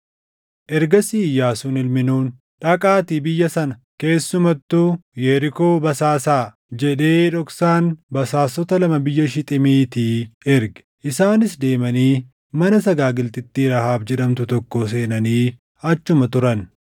Ergasii Iyyaasuun ilmi Nuuni, “Dhaqaatii biyya sana, keessumattuu Yerikoo basaasaa” jedhee dhoksaan basaastota lama biyya Shixiimiitii erge. Isaanis deemanii mana sagaagaltittii Rahaab jedhamtu tokkoo seenanii achuma turan.